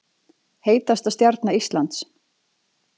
Heitasta stjarna Íslands